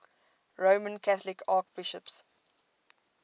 roman catholic archbishops